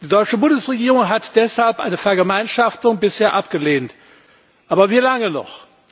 Die deutsche Bundesregierung hat deshalb eine Vergemeinschaftung bisher abgelehnt aber wie lange noch?